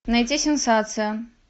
найти сенсация